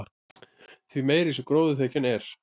því meiri sem gróðurþekjan er